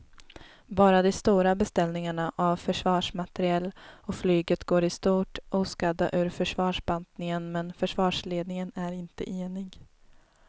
Bara de stora beställningarna av försvarsmateriel och flyget går i stort oskadda ur försvarsbantningen men försvarsledningen är inte enig.